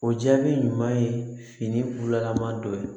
O jaabi ɲuman ye finilama dɔ ye